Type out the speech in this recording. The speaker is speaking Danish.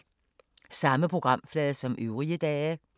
Samme programflade som øvrige dage